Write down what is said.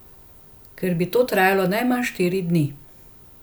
Ker bi to trajalo najmanj štiri dni.